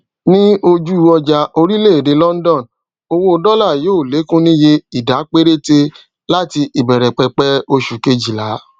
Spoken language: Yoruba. ní ojú ọjà orílèèdè london owó dólà yóò lékún níye ìdá péréte láti ìbèrèpèpè oṣù kejìlá